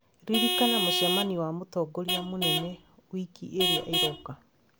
Ririkana mũcemanio wa mũtongoria mũnene wiki ĩrĩa ĩroka